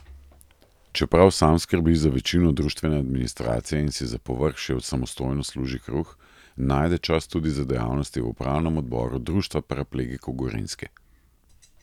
Čeprav sam skrbi za večino društvene administracije in si za povrh še samostojno služi kruh, najde čas tudi za dejavnosti v upravnem odboru Društva paraplegikov Gorenjske.